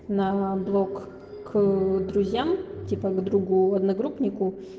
на блок к друзьям типа к другу одногруппнику